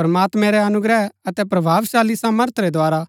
प्रमात्मैं रै अनुग्रह अतै प्रभावशाली सामर्थ रै द्धारा